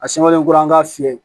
A sɛbɛnlen kura k'a fiyɛ